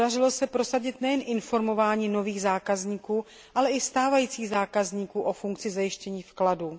Podařilo se prosadit nejen informování nových zákazníků, ale i stávajících zákazníků o funkci pojištění vkladů.